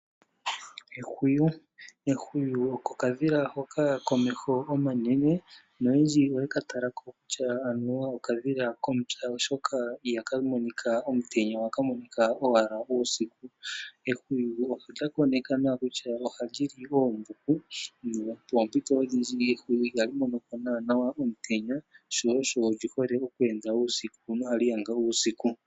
Ehwiyu okadhila hoka komeho omanene, noyendji oye ka talako kutya okadhila ko.upya oshoka iha ka monika omutenya, oha ka monika owala uusiku. Ehwiyu olya konekwa nawa kutya oha li li oombuku, nopoompito odhindji ehwiyu iha li monoko nawa omutenya sho osho li hole oku enda uusiku no ha li yanga uusiku.